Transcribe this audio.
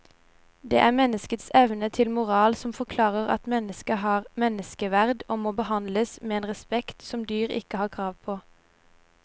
Det er menneskets evne til moral som forklarer at mennesket har menneskeverd og må behandles med en respekt som dyr ikke har krav på.